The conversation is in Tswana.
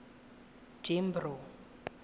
jimbro